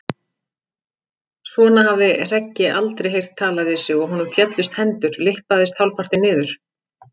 Svona hafði Hreggi aldrei heyrt talað við sig og honum féllust hendur, lyppaðist hálfpartinn niður.